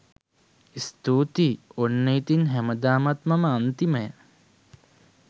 ස්තුතියි ඔන්න ඉතින් හැමදාමත් මම අන්තිමයා.